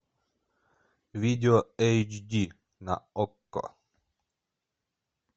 видео эйч ди на окко